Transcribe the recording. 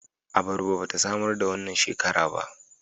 Abarba ba ta samar da wannan shekara ba